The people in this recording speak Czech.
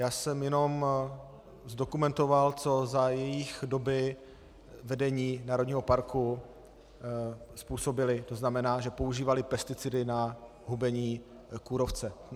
Já jsem jenom dokumentoval, co za jejich doby vedení národního parku způsobili, to znamená, že používali pesticidy na hubení kůrovce.